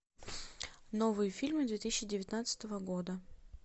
новые фильмы две тысячи девятнадцатого года